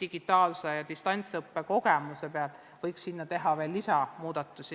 digitaalse ja distantsõppe kogemusega võiks teha veel muudatusi.